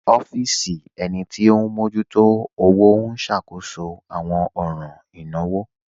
Ọfisi ènì tí o n mọjútò ọwọ̀ n ṣákóṣọ̀ awọn ọ̀ràn ìnáwò.